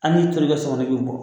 Hali ni ntori kɛ so kɔnɔ i bɛ bɔ